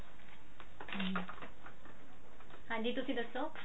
ਹਾਂਜੀ ਤੁਸੀਂ ਦੱਸੋ